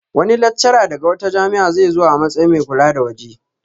Wani laccara daga wata jami'a zai zo a matsayin mai kula na waje